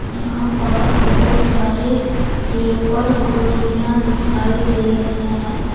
यहां पास बहुत सारे टेबल कुर्सियां दिखाई दे रहे हैं।